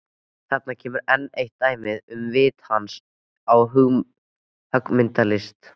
Þarna kemur enn eitt dæmið um vit hans á höggmyndalist.